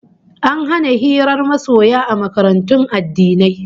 An hana hirar masoya a makarantun addini